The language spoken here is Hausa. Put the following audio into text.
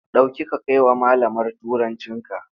Ɗauki ka kai wa malamar Turancinka!